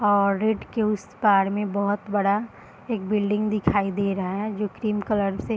और रेड के उस पार में बोहत बड़ा एक बिल्डिंग दिखाई दे रहा है जो क्रीम कलर से --